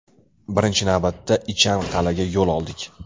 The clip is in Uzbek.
Birinchi navbatda, Ichan Qal’aga yo‘l oldik.